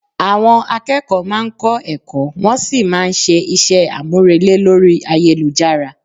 Àwọn akẹ́kọ̀ọ́ máa ń kọ́ ẹ̀kọ́ wọn sí máa ń ṣe àwọn iṣẹ́ àmúrelé lórí ayélujára